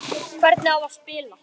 Hvernig á spila?